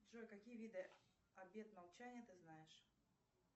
джой какие виды обет молчания ты знаешь